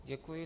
Děkuji.